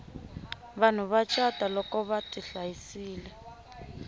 vanhu va cata loko vati hlayisile